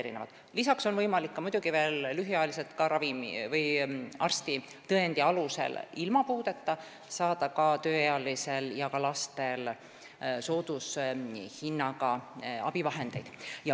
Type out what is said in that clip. Lisaks sellele on soodushinnaga abivahendeid lühemaks ajaks võimalik saada arstitõendi alusel nendel tööealistel ja lastel, kellel puuet ei ole.